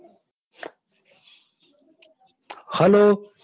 Hello